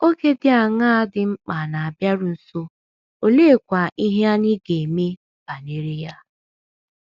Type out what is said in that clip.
Oge dị aṅaa dị mkpa na - abịaru nso, oleekwa ihe anyị ga - eme banyere ya?